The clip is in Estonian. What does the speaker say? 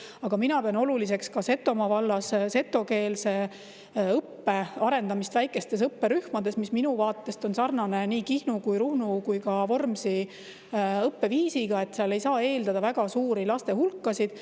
Aga mina pean oluliseks ka Setomaa vallas setokeelse õppe arendamist väikestes õpperühmades, mis minu vaatest on sarnane nii Kihnu, Ruhnu kui ka Vormsi õppeviisiga, sest seal ei saa eeldada väga suuri laste hulkasid.